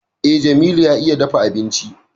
Eh, Jamilu ya iya dafa abinci